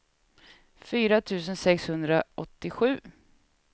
fyra tusen sexhundraåttiosju